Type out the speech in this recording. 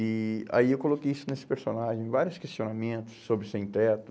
E aí eu coloquei isso nesse personagem, vários questionamentos sobre o sem-teto.